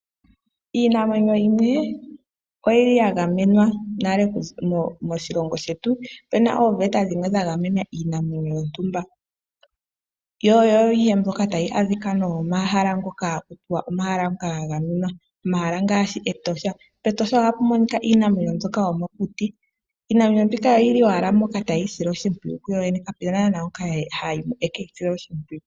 Iinamwenyo yimwe oyili ya gamenwa nale moshilongo shetu. Opu na ooveta dhimwe dha gamena iinamwenyo yontumba, yo oyo mbyoka ta yi adhika nomomahala ngoka ha kutiwa omahala ngoka ga gamenwa. Omahala ngaashi Etosha. PEtosha ohapu monika iinamwenyo mbyoka yomokuti . Iinamwenyo mbika oyili owala mpoka ta yi sile oshimpwiyu yoyene kapena naana ngoka hayi mo ekeyi sile oshimpwiyu.